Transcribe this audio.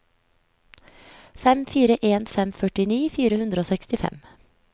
fem fire en fem førtini fire hundre og sekstifem